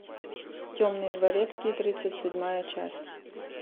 темный дворецкий тридцать седьмая часть